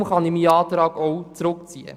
Deshalb kann ich meinen Antrag zurückziehen.